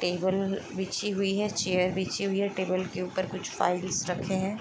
Table बिछी हुई हैं टेबल के ऊपर कुछ फाइल्स रखे हैं।